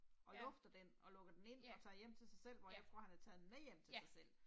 Og lufter den og lukker den ind og tager hjem til sig selv hvor jeg tror han har taget den med hjem til sig selv